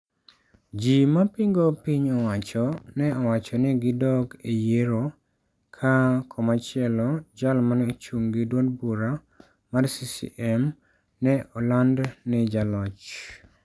Ji ma pingo piny owacho ne owacho ni gidog e yiero ka koma chielo jal mane ochung' gi duond bura mar CCM ne oland ni jaloch